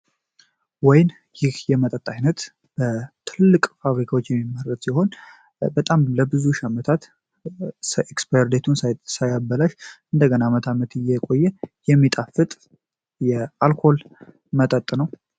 ወይን ይህ የመጠጥ ዓይነት በትልቅ ፋብሪካዎች የሚመረት ሲሆን ለሺህ ዓመታት ሳይበላሽ እየቆየ የሚጣፍጥ የአልኮል መጠጥ ነው።